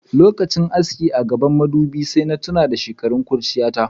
Lokachin aski a gabban madubin sai na tuna da shekarun kurchiyata.